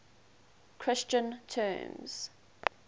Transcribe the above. christian terms